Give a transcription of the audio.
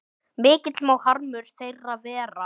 Mikill má harmur þeirra vera.